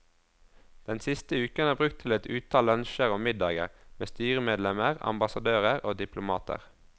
Den siste uken er brukt til et utall lunsjer og middager med styremedlemmer, ambassadører og diplomater.